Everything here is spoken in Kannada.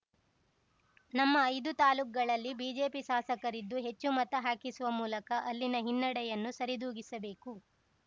ನಮ್ಮ ಐದು ತಾಲೂಕುಗಳಲ್ಲಿ ಬಿಜೆಪಿ ಶಾಸಕರಿದ್ದು ಹೆಚ್ಚು ಮತ ಹಾಕಿಸುವ ಮೂಲಕ ಅಲ್ಲಿನ ಹಿನ್ನಡೆಯನ್ನು ಸರಿದೂಗಿಸಬೇಕು